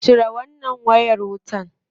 Cire wannan wayar wutar.